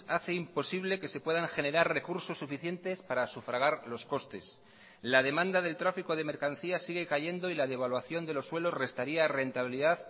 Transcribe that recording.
hace imposible que se puedan generar recursos suficientes para sufragar los costes la demanda del tráfico de mercancías sigue cayendo y la devaluación de los suelos restaría rentabilidad